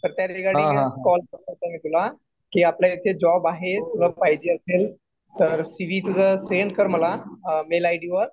तर त्या रिगार्डिंगच कॉल केलंत मी तुला. कि आपल्या इथे जॉब आहेत. तुला पाहिजे असेल तर सी वि तुझा सेंड कर मला मेल आय डी वर.